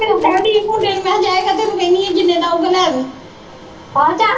ਕਹਿਣ ਦੀਆ ਕੇ ਮੁੰਡੇ ਨੂੰ ਮੈ ਕਿਹਾ ਜਾਏਗਾ ਜਿੰਨੇ ਦਾ ਆਉਗਾ ਲੈ ਆਵੀ